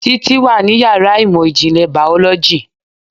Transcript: Títí wà ní yàrá ìmọ̀ ìjìnlẹ̀ Biology